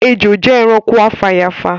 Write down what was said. Ejò jẹ ẹranko afàyàfà